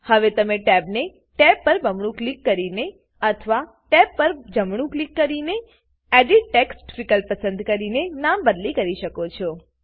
હવે તમે ટેબને ટેબ પર બમણું ક્લિક કરીને અથવા ટેબ પર જમણું ક્લિક કરીને પછી એડિટ ટેક્સ્ટ વિકલ્પ પસંદ કરીને નામ બદલી કરી શકો છો